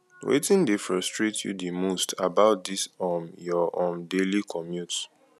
wetin dey frustrate you di most most about dis um your um daily commute